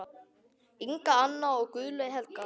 Inga Anna og Guðlaug Helga.